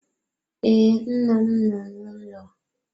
Ee, nna m nọ n'ụlọ.